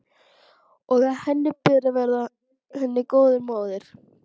Og að henni ber að vera henni góð móðir.